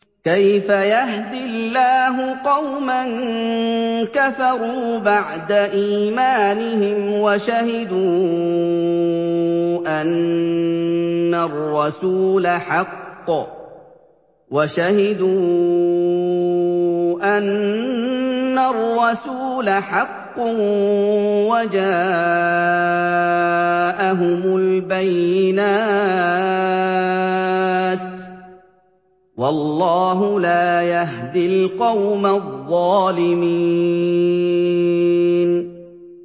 كَيْفَ يَهْدِي اللَّهُ قَوْمًا كَفَرُوا بَعْدَ إِيمَانِهِمْ وَشَهِدُوا أَنَّ الرَّسُولَ حَقٌّ وَجَاءَهُمُ الْبَيِّنَاتُ ۚ وَاللَّهُ لَا يَهْدِي الْقَوْمَ الظَّالِمِينَ